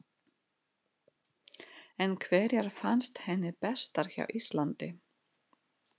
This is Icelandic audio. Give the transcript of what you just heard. En hverjar fannst henni bestar hjá Íslandi?